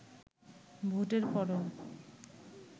ভোটের পরও